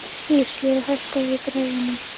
Íslaug, hækkaðu í græjunum.